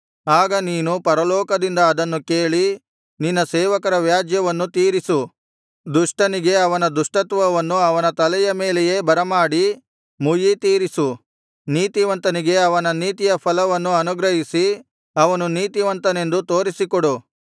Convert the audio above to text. ಆಗ ನೀನು ಪರಲೋಕದಿಂದ ಅದನ್ನು ಕೇಳಿ ನಿನ್ನ ಸೇವಕರ ವ್ಯಾಜ್ಯವನ್ನು ತೀರಿಸು ದುಷ್ಟನಿಗೆ ಅವನ ದುಷ್ಟತ್ವವನ್ನು ಅವನ ತಲೆಯ ಮೇಲೆಯೇ ಬರಮಾಡಿ ಮುಯ್ಯಿತೀರಿಸು ನೀತಿವಂತನಿಗೆ ಅವನ ನೀತಿಯ ಫಲವನ್ನು ಅನುಗ್ರಹಿಸಿ ಅವನು ನೀತಿವಂತನೆಂದು ತೋರಿಸಿಕೊಡು